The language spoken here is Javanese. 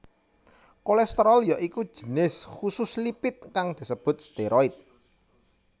Kolesterol ya iku jinis khusus lipid kang disebut steroid